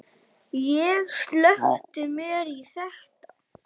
Ég sökkti mér í þetta.